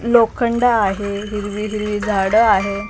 लोखंड आहे हिरवी हिरवी झाडं आहे.